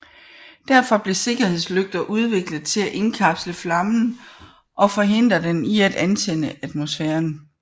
Derfor blev sikkerhedslygter udviklet til at indkapsle flammen og forhindre den i at antænde atmosfæren